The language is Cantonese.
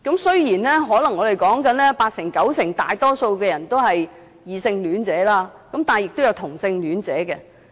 雖然"相關人士"中，可能大多數人都是異性戀者，但亦有同性戀者。